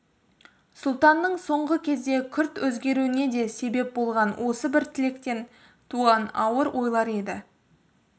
сұлтанның соңғы кезде күрт өзгеруіне де себеп болған осы бір тілектен туған ауыр ойлар еді